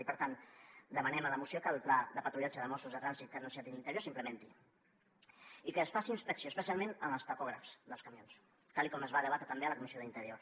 i per tant demanem en la moció que el pla de patrullatge de mossos de trànsit que ha anunciat interior s’implementi i que es faci inspecció especialment en els tacògrafs dels camions tal com es va debatre també a la comissió d’interior